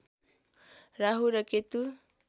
राहु र केतु